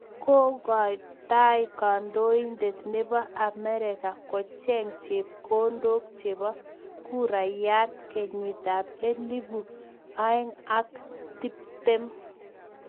Kokotai kandoindet nebo Amerika kocheng chepkondok chebo kurayat kenyitab ab elpu aeng ak tiptem.